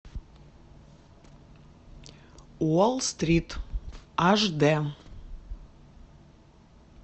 уолл стрит аш д